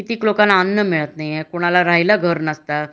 किती क लोकांना अन्न मिळत नाही हे ,कुणाला राहायला घर नसतं